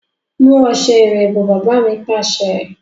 Mu ọ̀sẹ̀ ìwẹ̀ bọ̀! Baba mi Pàṣẹ.